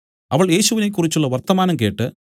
അവൾ യേശുവിനെകുറിച്ചുള്ള വർത്തമാനം കേട്ട്